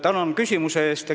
Tänan küsimuse eest!